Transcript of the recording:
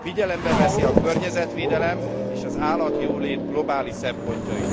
figyelembe veszi a környezetvédelem és az állatjólét globális szempontjait.